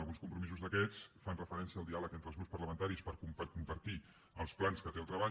alguns compromisos d’aquests fan referència al diàleg entre els grups parlamentaris per compartir els plans que té el treball